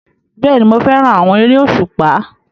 Bẹ́ẹ̀ni, mo fẹ́ràn àwọn eré òṣùpá